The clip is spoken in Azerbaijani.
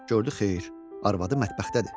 Gördü, xeyr, arvadı mətbəxdədir.